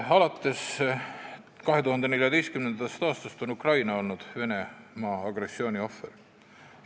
Alates 2014. aastast on Ukraina olnud Venemaa agressiooni ohver.